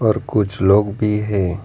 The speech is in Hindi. और कुछ लोग भी है।